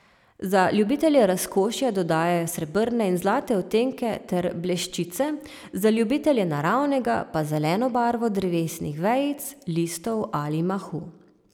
Za ljubitelje razkošja dodajajo srebrne in zlate odtenke ter bleščice, za ljubitelje naravnega pa zeleno barvo drevesnih vejic, listov ali mahu.